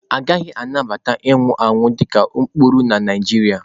Agaghị anabata ịnwụ anwụ dị ka ụkpụrụ na Naijiria.